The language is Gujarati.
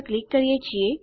તો હમણાં માટે આટલું જ